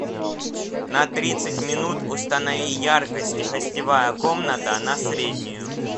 на тридцать минут установи яркость гостевая комната на среднюю